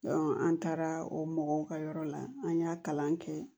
an taara o mɔgɔw ka yɔrɔ la an y'a kalan kɛ